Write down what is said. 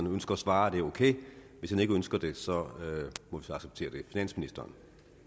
ønsker at svare er det ok hvis han ikke ønsker det må vi så acceptere det finansministeren